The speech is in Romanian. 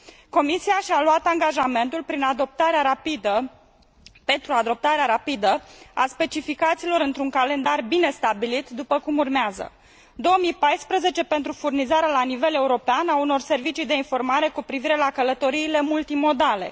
Comisia și a luat angajamentul pentru adoptarea rapidă a specificațiilor, într un calendar bine stabilit, după cum urmează 2014 pentru furnizarea la nivel european a unor servicii de informare cu privire la călătoriile multimodale